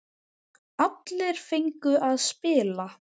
Allir fengu að spila.